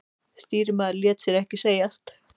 Stýrimaðurinn lét sér ekki segjast.